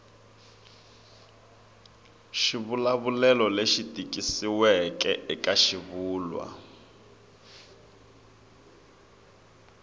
xivulavulelo lexi tikisiweke eka xivulwa